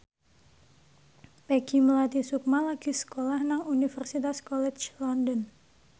Peggy Melati Sukma lagi sekolah nang Universitas College London